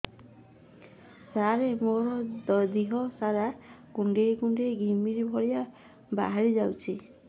ସାର ମୋର ଦିହ ସାରା କୁଣ୍ଡେଇ କୁଣ୍ଡେଇ ଘିମିରି ଭଳିଆ ବାହାରି ଯାଉଛି